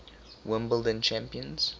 wimbledon champions